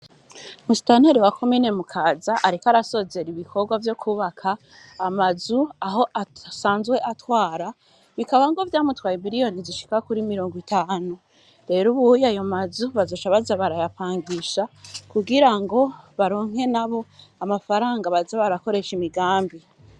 Musitanteri wa komine Mukaza ariko arasozera ibikorwa vyo kubaka amazu aho asanzwe atwara bikaba vyamutwaye miliyoni zishika kuri mirongo itanu rero ubunye ayo mazu bazoca baza barayapangisha kugirango baronke nabo amafaranga baza barakoresha imigambi.